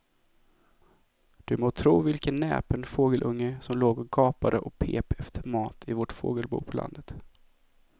Du må tro vilken näpen fågelunge som låg och gapade och pep efter mat i vårt fågelbo på landet.